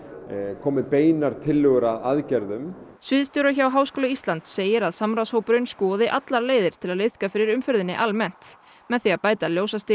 komi beinar tillögur að aðgerðum sviðsstjóri hjá Háskóla Íslands segir að samráðshópurinn skoði allar leiðir til að liðka fyrir umferðinni almennt með því að bæta